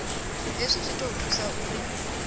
hezwi zwi ḓo thusa uri